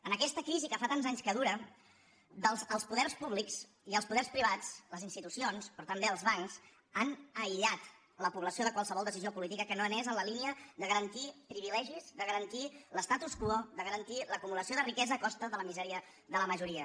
en aquesta crisi que fa tants anys que dura els poders públics i els poders privats les institucions però també els bancs han aïllat la població de qualsevol decisió política que no anés en la línia de garantir privilegis de garantir l’statu quo de garantir l’acumulació de riquesa a costa de la misèria de la majoria